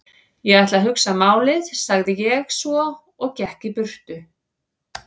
Ég ætla að hugsa málið sagði ég svo og gekk í burtu.